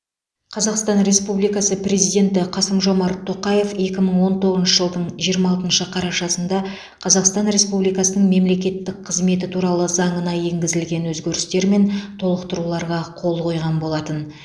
қазақстан республикасы президенті қасым жомарт тоқаев екі мың он тоғызыншы жылдың жиырма алтыншы қарашасында қазақстан республикасының мемлекеттік қызметі туралы заңына енгізілген өзгерістер мен толықтыруларға қол қойған болатын